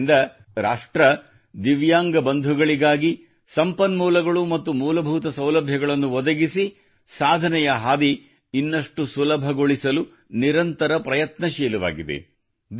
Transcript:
ಆದ್ದರಿಂದ ರಾಷ್ಟ್ರವು ದಿವ್ಯಾಂಗ ಬಂಧುಗಳಿಗಾಗಿ ಸಂಪನ್ಮೂಲಗಳು ಮತ್ತು ಮೂಲಭೂತ ಸೌಲಭ್ಯಗಳನ್ನು ಒದಗಿಸಿ ಸಾಧನೆಯ ಹಾದಿ ಇನ್ನಷ್ಟು ಸುಲಭಗೊಳಿಸಲು ನಿರಂತರ ಪ್ರಯತ್ನಶೀಲವಾಗಿದೆ